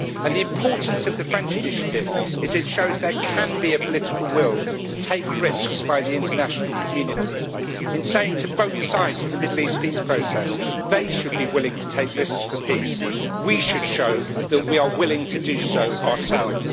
The importance of the French initiative is that it shows there can be a political will to take risks by the international community, in saying to both sides in the Middle East peace process that they should be willing to take risks for peace, and we should show that we are willing to do so ourselves.